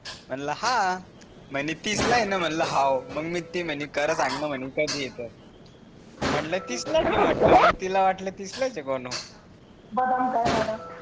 म्हणला हा म्हणे तीसला आहे न म्हणल हौहौ, खरं सांग ना? मग मी ती म्हणे करत आहे न म्हणे कधी येत म्हटल तिसलाच आहेआहे. म्हटल मग तिला वाटल तिसलाच आहेत म्हणून